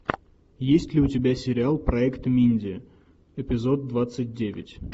есть ли у тебя сериал проект минди эпизод двадцать девять